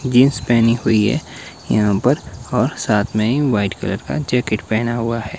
Jeans पहनी हुई है यहां पर और साथ में ही व्हाइट कलर का जैकेट पहना हुआ है।